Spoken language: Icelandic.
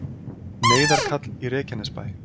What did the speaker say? Neyðarkall í Reykjanesbæ